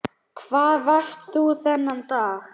Hvar varst þú þennan dag?